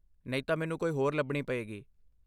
ਨਹੀਂ ਤਾਂ, ਮੈਨੂੰ ਕੋਈ ਹੋਰ ਲੱਭਣੀ ਪਏਗੀ।